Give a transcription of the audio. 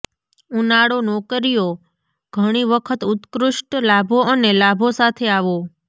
ઉનાળો નોકરીઓ ઘણી વખત ઉત્કૃષ્ટ લાભો અને લાભો સાથે આવો